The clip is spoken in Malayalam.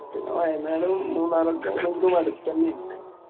പിന്നെ വയനാടും മൂന്നാറും ഒക്കെ ആണെങ്കിലും അടുത്തന്നെ അല്ലേ.